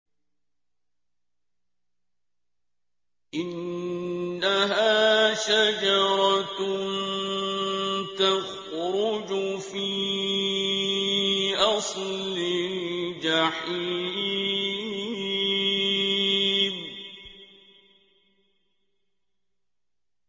إِنَّهَا شَجَرَةٌ تَخْرُجُ فِي أَصْلِ الْجَحِيمِ